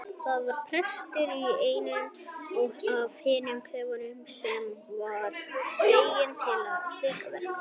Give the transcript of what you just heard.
Það var prestur í einum af hinum klefunum sem var fenginn til slíkra verka.